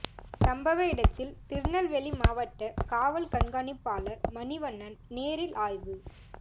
சம்பவ இடத்தில் திருநெல்வேலி மாவட்ட காவல் கண்காணிப்பாளர் மணிவண்ணன் நேரில் ஆய்வு